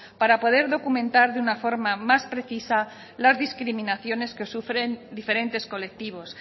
para poder documentar de una forma más precisa las discriminaciones que sufren diferentes colectivos